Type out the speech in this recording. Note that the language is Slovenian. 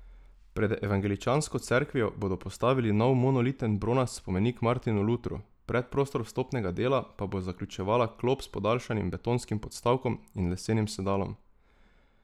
Pred Evangeličansko cerkvijo bodo postavili nov monoliten bronast spomenik Martinu Lutru, predprostor vstopnega dela pa bo zaključevala klop s podaljšanim betonskim podstavkom in lesenim sedalom.